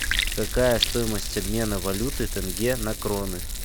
какая стоимость обмена валюты тенге на кроны